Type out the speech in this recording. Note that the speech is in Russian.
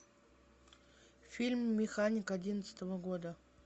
фильм механик одиннадцатого года